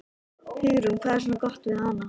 Hugrún: Hvað er svona gott við hana?